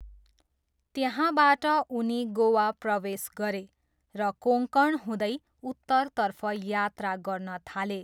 त्यहाँबाट उनी गोवा प्रवेश गरे र कोङ्कण हुँदै उत्तरतर्फ यात्रा गर्न थाले।